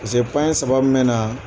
saba me na